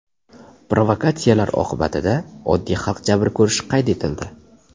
Provokatsiyalar oqibatida oddiy xalq jabr ko‘rishi qayd etildi.